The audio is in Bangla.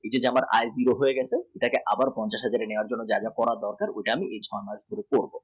এই যে আমার আয় zero হয়ে গেছে এটা আবার পঞ্চাশে minimum level এ হয় দরকার।